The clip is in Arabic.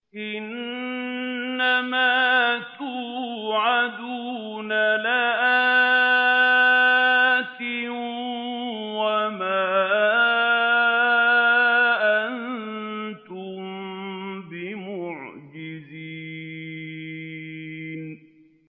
إِنَّ مَا تُوعَدُونَ لَآتٍ ۖ وَمَا أَنتُم بِمُعْجِزِينَ